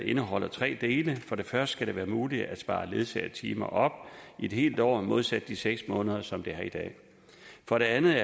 indeholder tre dele for det første skal det være muligt at spare ledsagetimer op i et helt år modsat de seks måneder som det er i dag for det andet